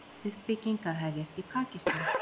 Uppbygging að hefjast í Pakistan